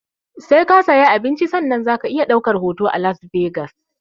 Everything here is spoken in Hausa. Sai ka sayi abinci sannan zaka iya ɗaukar hoto a las vegas